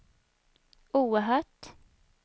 oerhört